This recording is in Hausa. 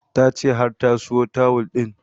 Ta ce har ta siyo tawul ɗin